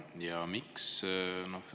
Ja miks?